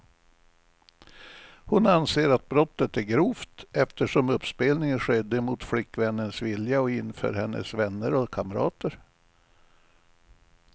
Hon anser att brottet är grovt, eftersom uppspelningen skedde mot flickvännens vilja och inför hennes vänner och kamrater.